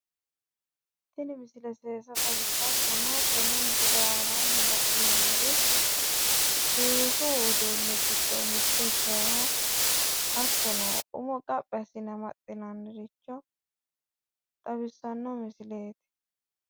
Tini misile seesa xawissawo. Hattono tenne misile aanaanni le'neemmori seesu uduunni giddo mitto ikkinoha hattono umo qaphi assine amaxxinanniricho xawissanno misileeti.